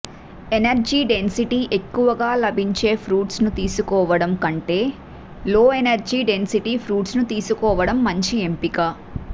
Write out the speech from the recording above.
energy density ఎక్కువగా లభించే fruits ను తీసుకోవడం కంటే లోఎనర్జీ డెన్సిటీ ఫ్రూట్స్ ను తీసుకోవడం మంచి ఎంపిక